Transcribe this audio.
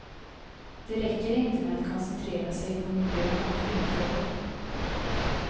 Det räcker inte med att koncentrera sig på miljön och kvinnofrågor.